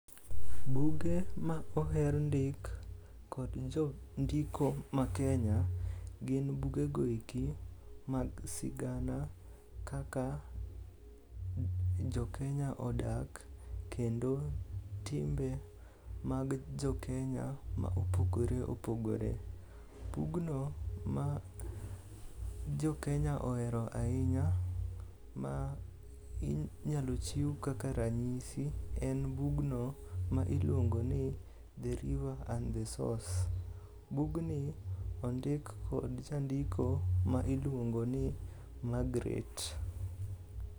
Buge ma oher ndik kod jondiko ma Kenya gin bugego eki mag sigana kaka jokenya odak kendo timbe mag jokenya ma opogore opogore. Bugno ma jokenya ohero ahinya ma inyalo chiw kaka ranyisi en bugno ma iluongoni "The river and the source". Bugni ondik kod jandiko ma iluongo ni Margaret.